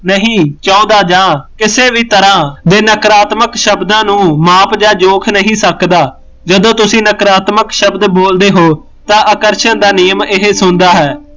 ਨਹੀਂ ਚਾਹੁੰਦਾ ਜਾਂ ਕਿਸੇ ਵੀ ਤਰਾਂ ਦੇ ਨਾਗਰਾਤ੍ਮਕ ਸ਼ਬਦਾਂ ਨੂੰ ਮਾਪ ਜਾ ਜੋਕ ਨਹੀਂ ਸਕਦਾ ਜਦੋ ਤੁਸੀਂ ਨਾਗਰਾਤ੍ਮਕ ਸ਼ਬਦ ਬੋਲਦੇ ਹੋ ਤਾਂ ਆਕਰਸ਼ਣ ਦਾ ਨਿਯਮ ਇਹ ਸੁਣਦਾ ਹੈ